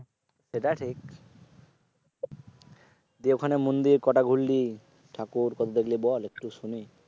সেটা ঠিক। তুই ওখানে মন্দির কয়টা ঘুরলি? ঠাকুর কয়টা দেখলি বল একটু শুনি?